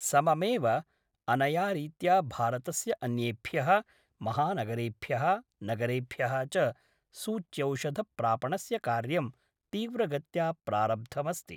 सममेव अनयारीत्या भारतस्य अन्येभ्यः महानगरेभ्यः नगरेभ्यः च सूच्यौषधप्रापणस्य कार्यं तीव्रगत्या प्रारब्धमस्ति।